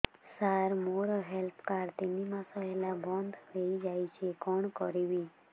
ସାର ମୋର health card ତିନି ମାସ ହେଲା ବନ୍ଦ ହେଇଯାଇଛି କଣ କରିବି